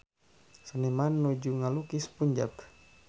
Seniman nuju ngalukis Punjab